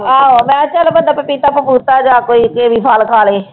ਆਹੋ ਮੈਂ ਚੱਲ ਪਪੀਤਾ ਪਪੂਤਾ ਜਾਂ ਕੋਈ ਕੀਵੀ ਫਲ ਖਾ ਲਏ।